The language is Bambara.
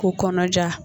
K'u kɔnɔja